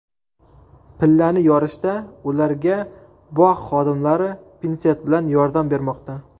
Pillani yorishda ularga bog‘ xodimlari pinset bilan yordam bermoqda.